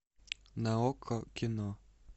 на окко кино